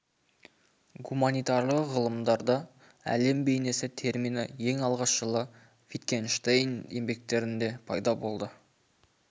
гуманитарлы ғылымдарда әлем бейнесі термині ең алғаш жылы витгенштейн еңбектерінде пайда болды